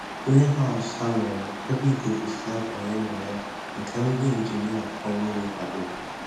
Griinhaus ha nwere ebe ikuku si abanye na ya nke ndi injinia ọrụ ugbo kwadoro